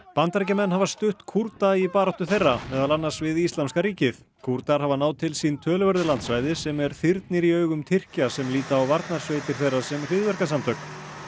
Bandaríkjamenn hafa stutt Kúrda í baráttu þeirra meðal annars við íslamska ríkið Kúrdar hafa náð til sín töluverðu landsvæði sem er þyrnir í augum Tyrkja sem líta á Varnarsveitir þeirra sem hryðjuverkasamtök